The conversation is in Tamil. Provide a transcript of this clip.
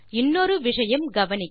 இன்னொரு விஷயம் கவனிக்க